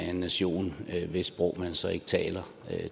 den nation hvis sprog man så ikke taler